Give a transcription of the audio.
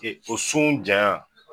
E o sun jaan.